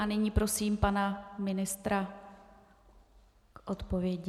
A nyní prosím pana ministra k odpovědi.